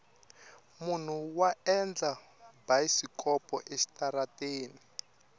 munhu wa endla bayisikopo exitarateni